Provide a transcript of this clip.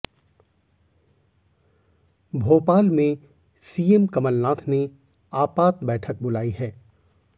भोपाल में सीएम कमलनाथ ने आपात बैठक बुलाई है